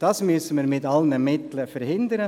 Das müssen wir mit allen Mitteln verhindern.